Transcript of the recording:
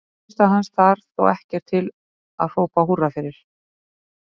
Frammistaða hans þar þó ekkert til að hrópa húrra fyrir.